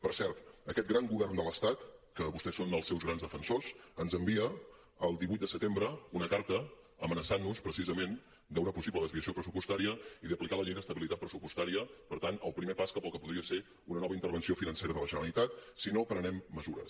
per cert aquest gran govern de l’estat que vostès són els seus grans defensors ens envia el divuit de setembre una carta amenaçant nos precisament d’una possible desviació pressupostària i d’aplicar la llei d’estabilitat pressupostària per tant el primer pas cap al que podria ser una nova intervenció financera de la generalitat si no prenem mesures